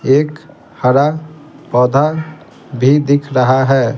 एक हरा पौधा भी दिख रहा है।